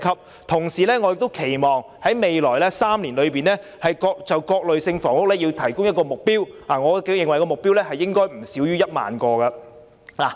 我同時亦期望在未來3年就各類房屋提供一個總供應目標，我認為目標應該不少於1萬個單位。